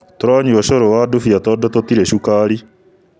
Tũranyua ũcũrũwa ndubiya tondũtũtirĩ cukari